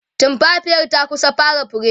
tumfafiyar ta kusa fara fure